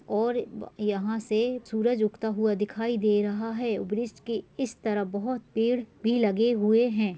और ब अ यहाँं से सूरज उगता हुआ दिखाई दे रहा है और ब्रिज के इस तरफ बहुत पेड़ भी लगे हुए हैं।